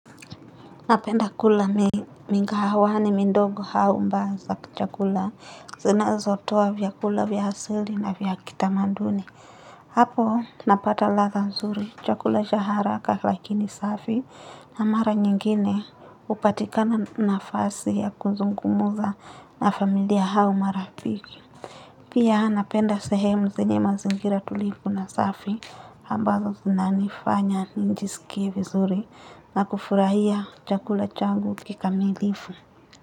Napenda kula migahawani mindongo hau mba za chakula zinazotoa vyakula vya hasili na vya kitamanduni. Hapo napata ladha nzuri chakula cha haraka lakini safi na mara nyingine hupatikana nafasi ya kuzungumuza na familia hau marafiki. Pia napenda sehemu zenye mazingira tulifu na safi ambazo zinanifanya nijisikie vizuri na kufurahia chakula chagu kikamilifu.